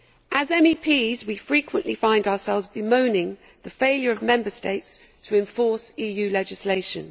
As MEPs, we frequently find ourselves bemoaning the failure of Member States to enforce EU legislation.